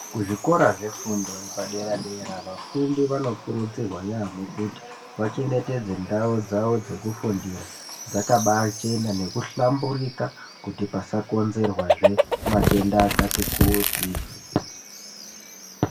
Kuzvikora zvefundo yepadera dera vafundi vanokurudzirwa yaamho kuti vachengetedze ndau dzao dzekufundira dzakabaachena nekuhlamburika kuti pasakonzerwazve matenda akati kuti.